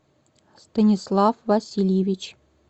станислав васильевич